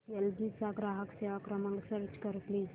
L G चा ग्राहक सेवा क्रमांक सर्च कर प्लीज